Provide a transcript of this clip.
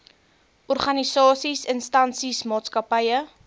organisasies instansies maatskappye